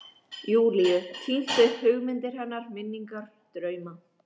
Júlíu, tínt upp hugmyndir hennar, minningar, drauma.